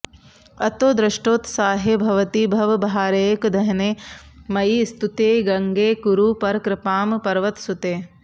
अतो दृष्टोत्साहे भवति भवभारैकदहने मयि स्तुत्ये गङ्गे कुरु परकृपां पर्वतसुते